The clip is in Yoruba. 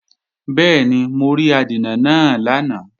Bẹ́ẹ̀ni, mo rí adènà náà lánàá